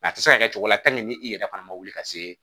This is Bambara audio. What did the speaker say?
a tɛ se ka kɛ cogo la ni i yɛrɛ fana ma wuli ka se